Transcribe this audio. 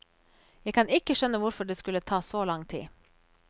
Jeg kan ikke skjønne hvorfor det skulle ta så lang tid.